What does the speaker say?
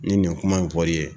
Ni nin kuma in fɔli ye